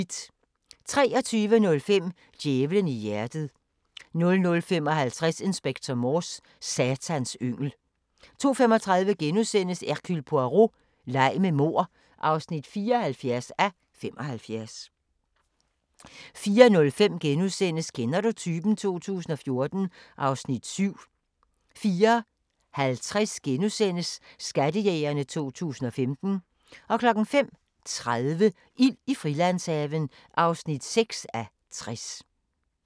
23:05: Djævelen i hjertet 00:55: Inspector Morse: Satans yngel 02:35: Hercule Poirot: Leg med mord (74:75)* 04:05: Kender du typen? 2014 (Afs. 7)* 04:50: Skattejægerne 2015 * 05:30: Ild i Frilandshaven (6:60)